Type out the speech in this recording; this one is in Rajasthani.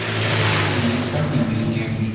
ओ है श्री करणी म्यूज़ियम गी।